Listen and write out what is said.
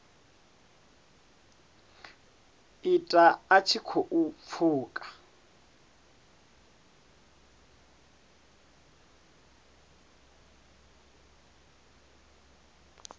ita a tshi khou pfuka